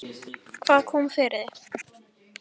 Hvað kom fyrir þig?